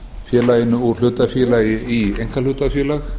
félaginu úr hlutafélagi í einkahlutafélag